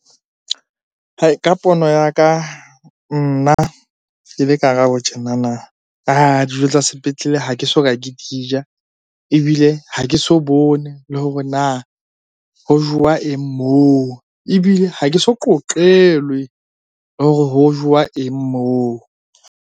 Ka pono ya ka nna ke le Karabo tjenana dijo tsa sepetlele ha ke soka ke dija. Ebile ha ke so bone le hore na ho jowa eng moo? Ebile ha ke so qoqelwe hore ho jowa eng moo?